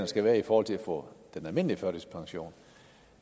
skal være i forhold til at få den almindelige førtidspension